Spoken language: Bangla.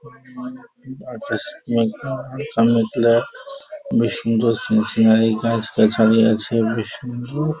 বেশ সুন্দর সিন সিনারি গাছগাছালি আছে বেশ সুন্দর ।